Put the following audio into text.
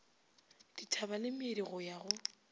dithaba le meedi ya go